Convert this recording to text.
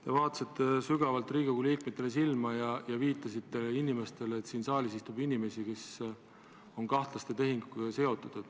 Te vaatasite sügavalt Riigikogu liikmetele silma ja viitasite, et siin saalis istub inimesi, kes on seotud kahtlaste tehingutega.